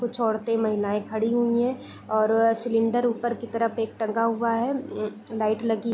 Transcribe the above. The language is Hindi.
कुछ औरतें महिलाएं खड़ी हुई हैं और अ सिलेंडर ऊपर के तरफ एक टंगा हुआ हैं उम्म लाइट लगी --